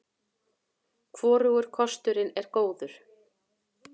Hvorugur kosturinn var góður.